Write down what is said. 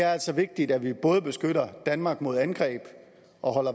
er altså vigtigt at vi både beskytter danmark mod angreb og